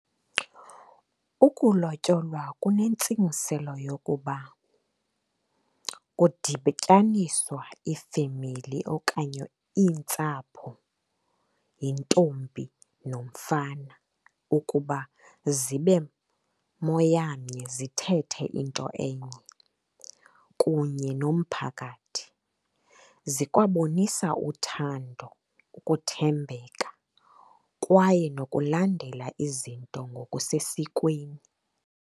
Ukulotyolwa kunentsingiselo yokuba kudityaniswa ifemeli okanye iintsapho yintombi nomfana ukuba zibe moyamnye zithethe into enye, kunye nomphakathi. Zikwabonisa uthando, ukuthembeka kwaye nokulandela izinto ngokusesikweni.